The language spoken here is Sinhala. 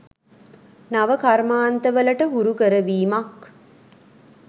නව කර්මාන්තවලට හුරු කරවීමක්